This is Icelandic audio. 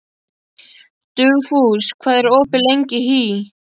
Dugfús, hvað er opið lengi í HÍ?